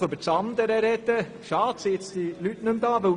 Schade, dass diese Leute jetzt nicht mehr zuhören.